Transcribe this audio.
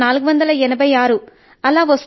485 లేదా 486